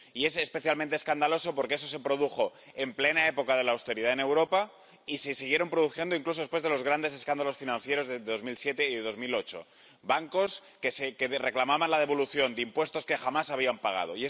y es especialmente escandaloso porque ese se produjo en plena época de austeridad en Europa y se siguieron produciendo otros incluso después de los grandes escándalos financieros de 2007 y 2008 bancos que reclamaban la devolución de impuestos que jamás habían pagado.